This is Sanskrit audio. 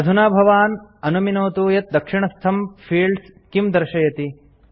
अधुना भवान् अनुमिनोतु यत् दक्षिणस्थं फील्ड्स किं दर्शयति